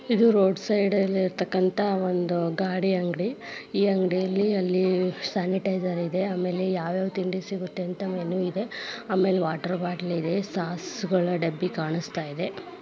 ಇದು road side ಇರ್ತಕ್ಕಂತ ಒಂದು ಗಾಡಿ ಅಂಗಡಿ. ಈ ಅಂಗಡಿಲಿ ಅಲ್ಲಿ ಸ್ಯಾನಿಟೈಝೆರ್ ಇದೆ. ಆಮೇಲೆ ವಾಟರ್ ಬಾಟಲ್ ಇದೆ ಸಾಸ್ಗಳ ಡಬ್ಬಿ ಕಾಣಿಸತ್ತಾಯಿದೆ.